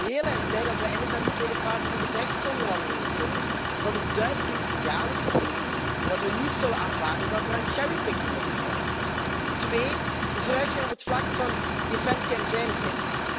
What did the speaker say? Ik ben heel erg blij dat we eindelijk naar die tweede fase van de brexitonderhandelingen kunnen en dat duidelijk het signaal is gegeven dat we niet zullen aanvaarden dat er aan cherrypicking wordt gedaan. Twee, de vooruitgang op het vlak van defensie en veiligheid.